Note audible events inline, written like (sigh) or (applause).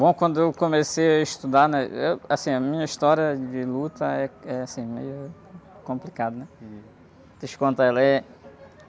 Bom, quando eu comecei a estudar, né? Eu, assim, a minha história de luta é, é assim, meio complicada, né? (unintelligible) eu te contar, ela é...